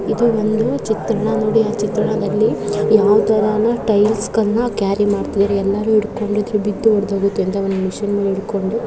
ಇದು ಒಂದು ಚಿತ್ರಣ ನೋಡಿ ಆ ಚಿತ್ರಣದಲ್ಲಿ ಯಾವ ತಾರಾನಾ ಟೈಲ್ಸ್ಗಳನ್ನ ಕ್ಯಾರ್ರಿ ಮಾಡ್ತಾಯಿದಾರೆ ಎಲ್ಲರೂ ಹಿಡಿಕೊಂಡಿದ್ದಾರೆ ಬಿದ್ದು ಒಡೆದು ಹೋಗುತ್ತೆ ಅಂತ --